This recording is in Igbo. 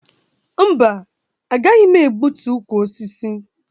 Mba, agaghị m egbutu ukwu osisi.